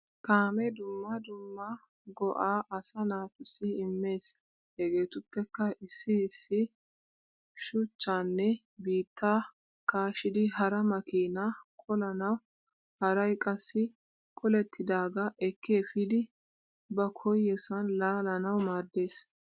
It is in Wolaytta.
Kaamee dumma dumma go'aa asaa naatussi immes. Hegeetuppekka issi issi shuchchaanne biittaa kaashidi hara makiinaa qolanawu haray qassi qolettidaagaa ekki efidi ba koyyosan laalanawu maaddes.